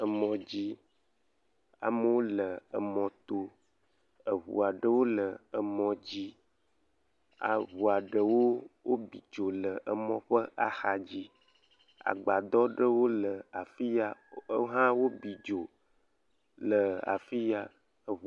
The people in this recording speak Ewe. Emɔ dzi amewo le emɔ toeŋu aɖewo le emɔ dzi eŋu aɖewo bi dzo le emɔ ƒe axa dzi, agbadɔ ɖewo le afi ya wohã bi dzo le afi ya.